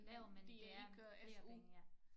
Lav men det er flere penge ja